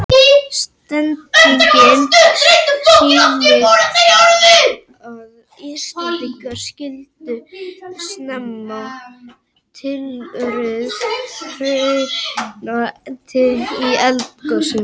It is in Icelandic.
Setningin sýnir að Íslendingar skildu snemma tilurð hrauna í eldgosum.